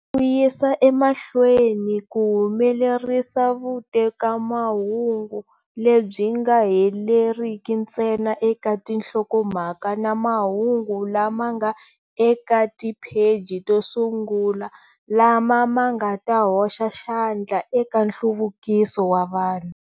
Ku yisa ema hlweni ku humelerisa vute kamahungu lebyi nga heleriki ntsena eka tinhlokomhaka na mahungu lama nga eka tipheji to sungula lama ma nga ta hoxa xandla eka nhluvukiso wa vanhu.